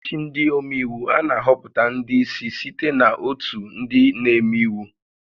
N'ọchịchị ndị omeiwu, a na-ahọpụta ndị ísí site na ótù ndị na-eme íwú